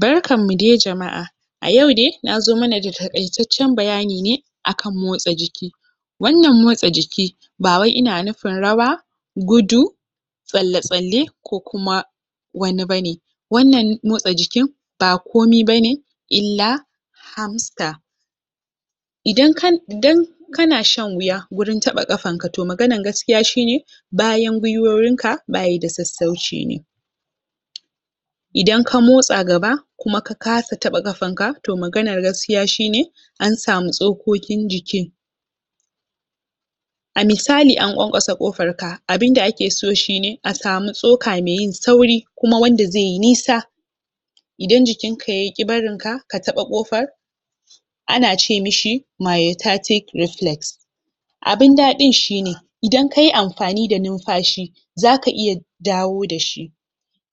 Barkanmu de jama’a a yau dai na zo mana da taƙaitaccen bayani ne akan motsa jiki wannan motsa jiki ba wai ina nufin rawa, gudu tsalle-tsalle ko kuma wani ba ne wannan motsa jikin ba komi ba ne illa harmster idan kana idan ka kana shan wuya wajen taɓa kanka, to maganar gaskiya shi ne bayan gwiwoyinka baya da sassauci ne idan ka motsa gaba kuma ka kasa taɓa kafanka, to maganan gaskiya shi ne an samu tsokokin jikin a misali an ƙwanƙwasa ƙofarka, abin da ake so shi ne a samu tsoka me yin sauri kuma wanda zai yi nisa idan jikinka yaƙi barinka ka taɓa ƙofar ana ce mishi myotatic reflex, abin daɗin shi ne idan ka yi amfani da numfashi zaka iya dawo da shi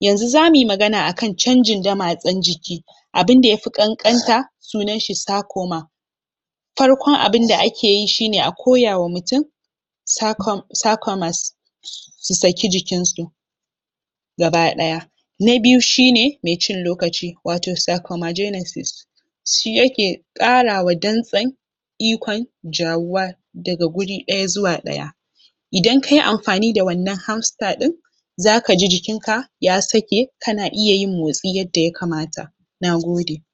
yanzu zamu magana akan canjin damatsen jiki abin da yafi ƙanƙanta sunan shi ne psychoma Farkon abin da ake yi shi ne, a koyawa mutum psychoma psychomas su saki jikinsu gaba ɗaya Na biyu shi ne me cin lokaci, wato psychoma genesis shi yake ƙarawa dantsen ikon jawuwa daga guri ɗaya zuwa ɗaya idan ka yi amfani da wannan harmster ɗin zaka ji jikinka ya sake kana iya yin motsi yadda yakamata Nagode